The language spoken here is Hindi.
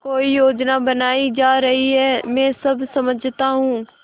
कोई योजना बनाई जा रही है मैं सब समझता हूँ